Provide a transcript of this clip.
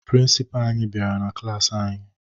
Prịnsịpaa anyị bịara na klaasị anyị